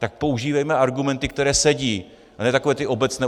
Tak používejme argumenty, které sedí, a ne takové ty obecné.